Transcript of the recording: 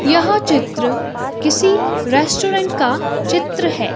यह चित्र किसी रेस्टोरेंट का चित्र है।